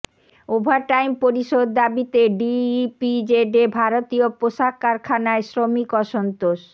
overtime পরিশোধ দাবিতে ডিইপিজেডে ভারতীয় পোশাক কারখানায় শ্রমিক অসন্তোষ